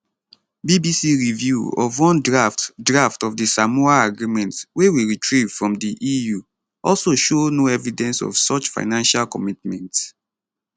bbc review of one draft draft of di samoa agreement wey we retrieve from di eu also show no evidence of such financial commitments